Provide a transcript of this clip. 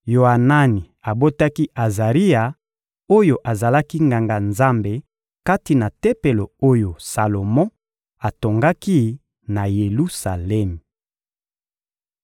Yoanani abotaki Azaria oyo azalaki Nganga-Nzambe kati na Tempelo oyo Salomo atongaki na Yelusalemi.